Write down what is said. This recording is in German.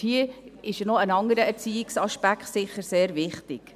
Hier ist sicher auch ein anderer Erziehungsaspekt sehr wichtig.